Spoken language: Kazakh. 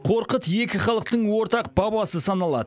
қорқыт екі халықтың ортақ бабасы саналады